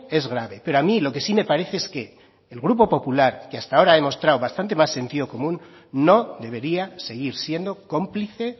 es grave pero a mí lo que sí me parece es que el grupo popular que hasta ahora ha demostrado bastante más sentido común no debería seguir siendo cómplice